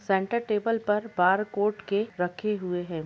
Centre table पर barcode के रखे हुए है।